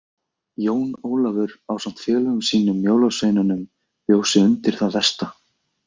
Jón Ólafur ásamt félögum sínum jólasveinunum bjó sig undir það versta.